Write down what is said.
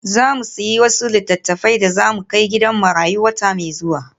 Za mu sayi wasu littattafai da za mu kai gidan marayu wata mai zuwa.